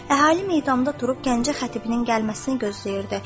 Əhali meydanda durub Gəncə xətibinin gəlməsini gözləyirdi.